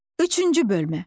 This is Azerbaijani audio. Üçüncü bölmə.